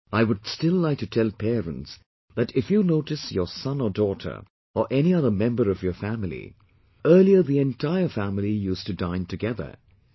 But I would still like to tell parents that if you notice your son or daughter or any other member of your family earlier the entire family used to dine together